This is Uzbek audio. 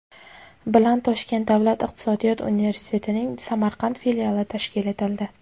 bilan Toshkent davlat iqtisodiyot universitetining Samarqand filiali tashkil etildi.